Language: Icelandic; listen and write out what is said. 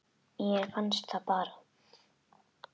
Mér fannst það bara.